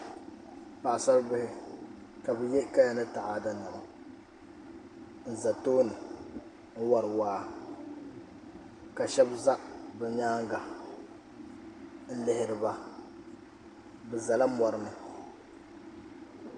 Paɣasari bihi ka bi yɛ kaya ni taada niɛma ka shab ʒɛ bi nyaanga n lihiriba bi ʒɛla mori ni